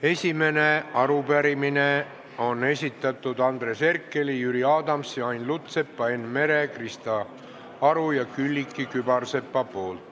Esimene arupärimine on esitatud Andres Herkeli, Jüri Adamsi, Ain Lutsepa, Enn Mere, Krista Aru ja Külliki Kübarsepa poolt.